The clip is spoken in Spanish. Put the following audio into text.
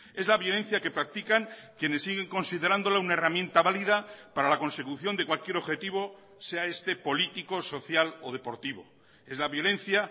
es la violencia que practican quienes siguen considerándola una herramienta valida para la consecución de cualquier objetivo sea este político social o deportivo es la violencia